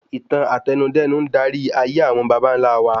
Ìtàn Àtẹnudẹ́nu ń darí ayé àwọn bàbàńlá wa